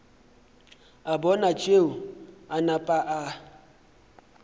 a bona tšeo a napa